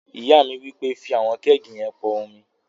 Ìyá mi wí pé, "fí àwọn kẹ́ẹ̀gì yẹn pọn omi!"